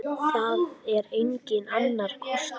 Það er enginn annar kostur.